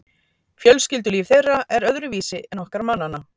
fjölskyldulíf þeirra er öðruvísi en okkar mannanna